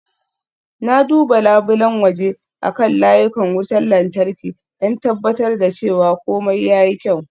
Na duba labulen waje akan layukan wutar lantarki, don tabbatar da cewa komai ya yi kyau.